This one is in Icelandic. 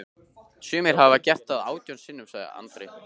Sumir hafa gert það átján sinnum, sagði Andri.